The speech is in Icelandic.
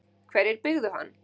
Hverjir byggðu hann?